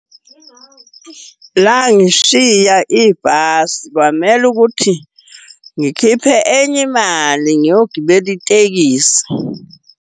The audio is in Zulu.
Langishiya ibhasi, kwamele ukuthi ngikhiphe enye imali ngiyogibela itekisi.